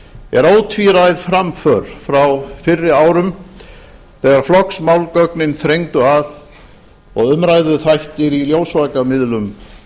er ótvíræð framför frá fyrri árum þegar flokksmálgögnin þrengdu að og umræðuþættir í ljósvakamiðlum